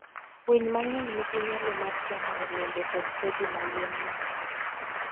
Winy mang'eny nigi nyalo mar chamo olembe kod kodhi ma yien nyago.